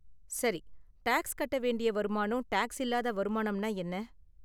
சரி, டாக்ஸ் கட்ட வேண்டிய வருமானம், டாக்ஸ் இல்லாத வருமானம்னா என்ன?